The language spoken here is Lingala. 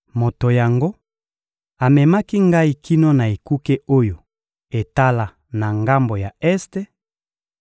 Moto yango amemaki ngai kino na ekuke oyo etala na ngambo ya este,